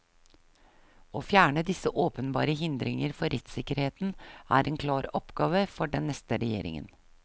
Å fjerne disse åpenbare hindringer for rettssikkerheten er en klar oppgave for den neste regjeringen.